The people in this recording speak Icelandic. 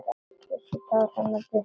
Hann kyssir tár hennar burtu.